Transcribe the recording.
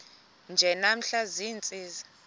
nje namhla ziintsizi